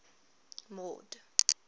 mord